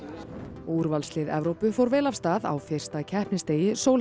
og úrvalslið Evrópu fór vel af stað á fyrsta keppnisdegi